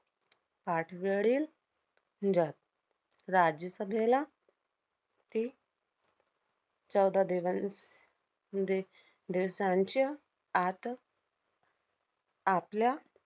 पाठवरील राज्यसभेला ती चौदा दिवंस~ दि~ दिवसांच्या आत आपल्या